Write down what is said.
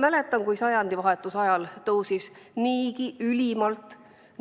Mäletan, kui sajandivahetuse ajal tõusis niigi ülimalt